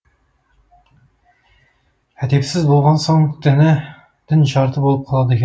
әдепсіз болған соң дін жарты болып қалады екен